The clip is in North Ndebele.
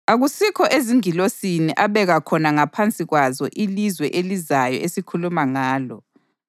Akusikho ezingilosini abeka khona ngaphansi kwazo ilizwe elizayo esikhuluma ngalo.